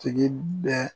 Tigi bɛ